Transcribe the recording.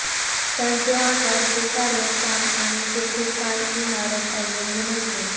त्यांचे आकार ते कार्य काम आणि जेथे काय इमारत अवलंबून असते